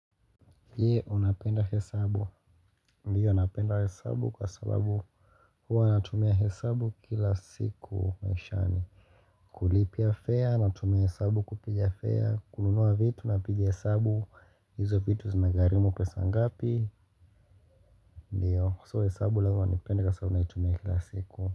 Je unapenda hesabu Ndiyo napenda hesabu kwa sababu huwa natumia hesabu kila siku maishani kulipia fare, natumia hesabu kupija fare, kununua vitu napigia hesabu, hizo vitu zimegharimu pesa ngapi Ndiyo so hesabu lazima nipende kwa sabu naitumia kila siku.